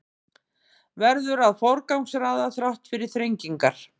Verður að forgangsraða þrátt fyrir þrengingar